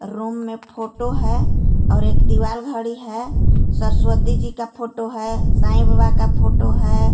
Room में photo है और एक दीवालघड़ी है सरस्वती जी का फोटो है साइ बाबा का फोटो है.